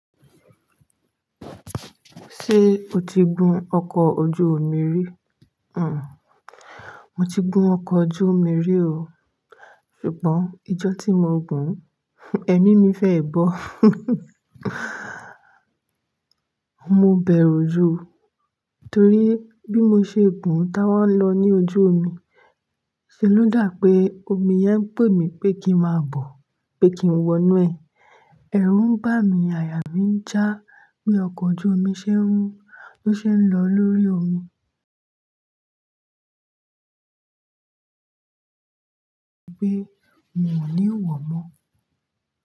Ṣé o ti gun ọkọ̀ ojú omi rí? Hm, mo ti gun ọkọ̀ ojú omi rí o. Ṣùgbọ́n, ijọ́ tí mo gùn ún, ẹ̀mí mi fẹ́ bọ́. Mo bẹ̀rù jú, torí bí mo ṣe gùn ún táa wa ń lọ ní ojú omi, ṣe ló dà pé omi yẹn ń pè mí pé kí n máa bọ̀, pé kí n wọnú ẹ̀. Ẹ̀rù ń bà mí, àyà mí ń já bí ọkọ̀ ojú omi ṣe ń, bó ṣe ń lọ lórí omi. Bí i pé mi ò ní wọ̀ mọ́.